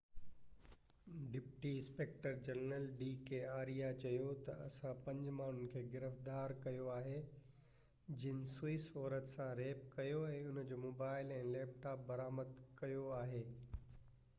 deputy inspector general D K Arya چيو ته اسان پنج ماڻهن کي گرفتار ڪيو آهي جن سوئس عورت سان ريپ ڪيو ۽ هن جو موبائيل ۽ ليپ ٽاپ برآمد ڪيو آهي